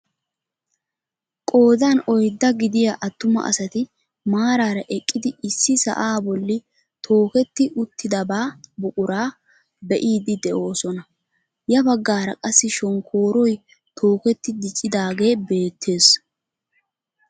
Qoodan oyddaa gidiyaa attuma asati maarara eqqidi issi sa'aa bolli tokeetti uttidabaa buquraa be'iidi de'oosona. ya baggaara qassi shonkkooroy tokketti diccidaage beettees.